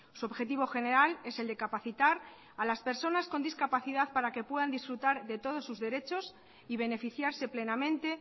su objetivo general es el de capacitar a las personas con discapacidad para que puedan disfrutar de todos sus derechos y beneficiarse plenamente